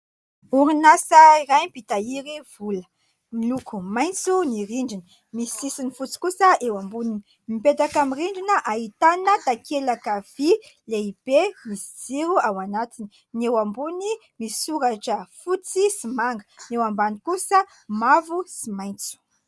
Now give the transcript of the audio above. Orinasa iray mpitahiry vola : miloko maitso ny rindrina, misy sisiny fotsy kosa eo amboniny, mipetaka amin'ny rindrin ahitana takelaka vy lehibe sy jiro ao anatiny, ny eo ambony misoratra fotsy sy manga, ny eo ambany kosa mavo sy maitso.